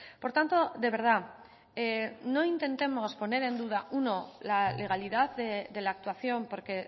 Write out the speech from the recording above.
por tanto de verdad no intentemos poner en duda uno la legalidad de la actuación porque